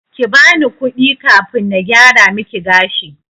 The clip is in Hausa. Kibani kudi kafin na gyara miki gashi.